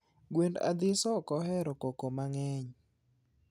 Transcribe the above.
Gwen athiso okohero koko mangeny